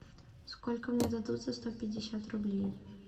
сколько мне дадут за сто пятьдесят рублей